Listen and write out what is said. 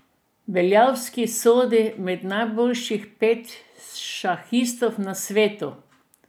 Beljavski sodi med najboljših pet šahistov na svetu.